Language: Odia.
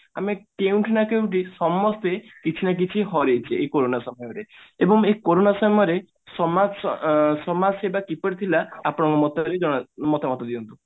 ଆମେ କେଉଁଠି ନା କେଉଁଠି ସମସ୍ତେ କିଛି ନା କିଛି ହରେଇଛେ ଏଇ କୋରୋନା ସମୟରେ ଏବଂ ଏଇ କୋରୋନା ସମୟରେ ସମାଜ ଅ ସମାଜ ସେବା କିପରି ଥିଲା ଆପଣଙ୍କ ମତ ରେ ଜଣା ମତାମତ ଦିଅନ୍ତୁ